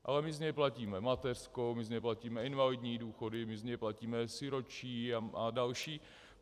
Ale my z něj platíme mateřskou, my z něj platíme invalidní důchody, my z něj platíme sirotčí a další.